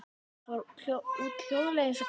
Hann fór út, hljóðlega eins og köttur.